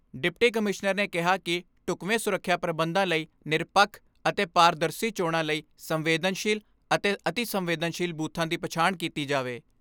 Deputy commissioner ਨੇ ਕਿਹਾ ਕਿ ਢੁਕਵੇਂ ਸੁਰੱਖਿਆ ਪ੍ਰਬੰਧਾਂ ਲਈ ਨਿਰਪੱਖ ਅਤੇ ਪਾਰਦਰਸੀ ਚੋਣਾਂ ਲਈ ਸੰਵੇਦਨਸ਼ੀਲ ਅਤੇ ਅਤਿ ਸੰਵੇਦਨਸ਼ੀਲ ਬੂਥਾਂ ਦੀ ਪਛਾਣ ਕੀਤੀ ਜਾਵੇ।